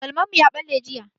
Galman mu ya ɓalle jiya.